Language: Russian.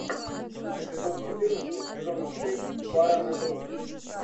эпизод четырнадцать сезона шесть бара на грудь